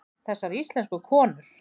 Þessar íslensku konur!